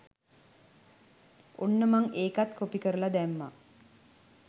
ඔන්න මං ඒකත් කොපි කරලා දැම්මා